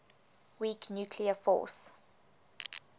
weak nuclear force